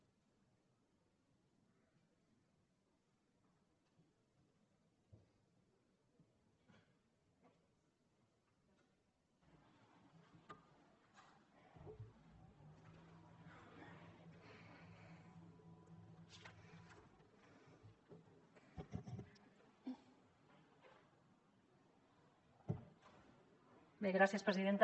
bé gràcies presidenta